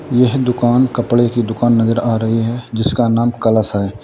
यह दुकान कपड़े की दुकान नजर आ रही है जिसका नाम कलश है।